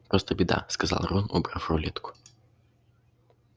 просто беда сказал рон убрав рулетку